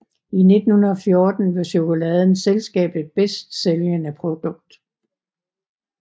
I 1914 var chokoladen selskabet bedst sælgende produkt